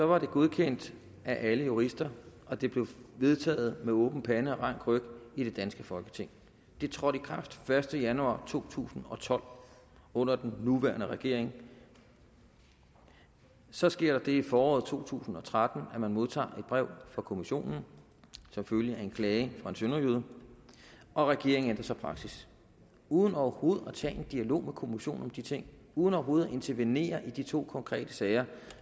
var det godkendt af alle jurister og det blev vedtaget med åben pande og rank ryg i det danske folketing det trådte i kraft den første januar to tusind og tolv under den nuværende regering så sker der det i foråret to tusind og tretten at man modtager et brev fra kommissionen som følge af en klage fra en sønderjyde og regeringen ændrer så praksis uden overhovedet at tage en dialog med kommissionen om de ting uden overhovedet at intervenere i de to konkrete sager